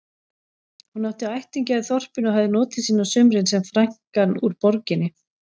Hún átti ættingja í þorpinu og hafði notið sín á sumrin sem frænkan úr borginni.